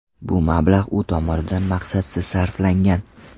Bu mablag‘ u tomonidan maqsadsiz sarflangan.